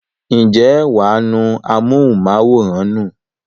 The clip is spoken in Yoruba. ǹjẹ́ wà á nu amóhùnmáwòrán nù?